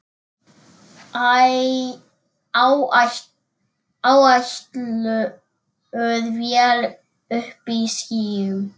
Áætluð vél uppí skýjum.